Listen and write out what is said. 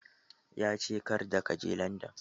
Ya ce "Karda ka je Landan"!